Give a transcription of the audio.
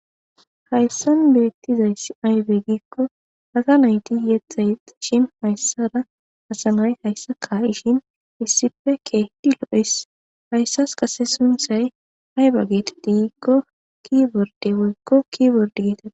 Haysan betizay ayne gikon asa nay yetha yexishin asa nay haysara issippe ka'es. Hayssa qade sunthay ayba geteti gikon kiborde getetes.